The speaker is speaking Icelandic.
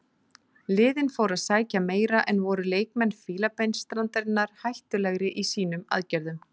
Liðin fóru að sækja meira en voru leikmenn Fílabeinsstrandarinnar hættulegri í sínum aðgerðum.